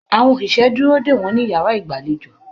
Àwọn òṣìṣẹ́ dúró dè wọ́n ní yàrá ìgbàlejò.